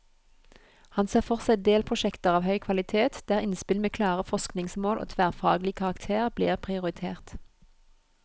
Han ser for seg delprosjekter av høy kvalitet, der innspill med klare forskningsmål og tverrfaglig karakter blir prioritert.